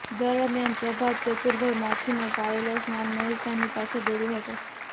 દરમિયાન પ્રભાત ચતુરભાઇ માછીનો પાળેલો શ્વાન મહેશભાઇની પાછળ દોડયો હતો